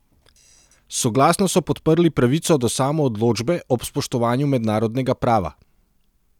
Soglasno so podprli pravico do samoodločbe ob spoštovanju mednarodnega prava.